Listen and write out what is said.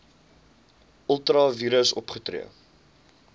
ultra vires opgetree